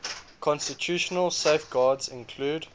constitutional safeguards include